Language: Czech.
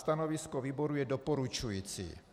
Stanovisko výboru je doporučující.